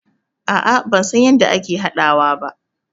No i dont know how to prepare it.